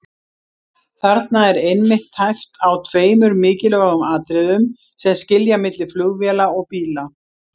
Þarna er einmitt tæpt á tveimur mikilvægum atriðum sem skilja milli flugvéla og bíla.